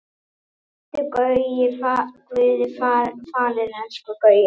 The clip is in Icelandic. Vertu Guði falin elsku Gauja.